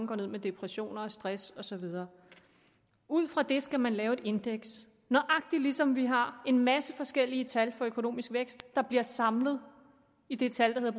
går ned med depressioner stress og så videre ud fra det skal man lave et indeks nøjagtig ligesom vi har en masse forskellige tal for økonomisk vækst der bliver samlet i det tal der